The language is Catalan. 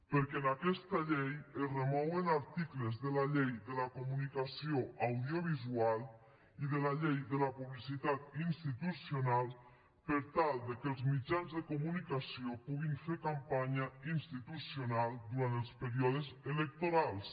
perquè en aquesta llei es remouen articles de la llei de la comunicació audiovisual i de la llei de la publicitat institucional per tal que els mitjans de comunicació puguin fer campanya institucional durant els períodes electorals